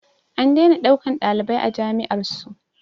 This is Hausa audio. An daina ɗaukan ɗalibai a jami'ar su